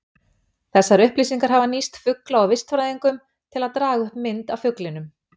Þessar upplýsingar hafa nýst fugla- og vistfræðingum, til að draga upp mynd af fuglinum.